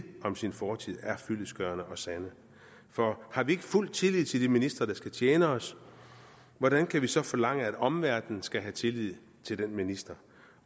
om sin fortid er fyldestgørende og sande for har vi ikke fuld tillid til de ministre der skal tjene os hvordan kan vi så forlange at omverdenen skal have tillid til de ministre